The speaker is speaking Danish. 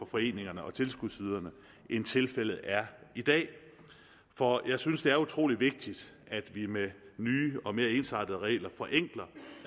foreningerne og tilskudsyderne end tilfældet er i dag for jeg synes det er utrolig vigtigt at vi med nye og mere ensartede regler forenkler